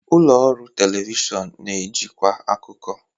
Ụlọ ọrụ telivishọn na-ejikwa akụkọ.